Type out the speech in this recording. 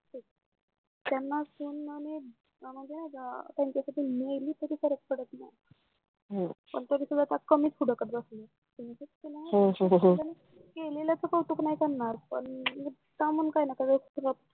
त्यांनाच फोन ना मी म्हणजे त्यांच्यासाठी मेली तरी फरक पडत नाय हो पण तरी सुद्धा त्या कमी फुडाकात जात नाहीत हो हो हो केलेल्याच कौतुक नाही करणार पण कामून काय ना काय